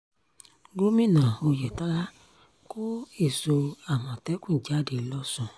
gomina oyetola kó èso àmọ̀tẹ́kùn jáde lọ́sùn